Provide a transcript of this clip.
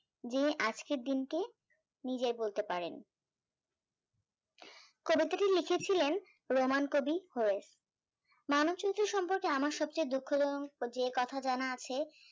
যে আজকের দিনটি নিজেই বলতে পারেন কবে থেকেই লিখেছিলেন roman কবি hoist মানুষজন সম্পর্কে আমার সবচেয়ে দুঃখ জনক যে কথা জানা আছে তা হল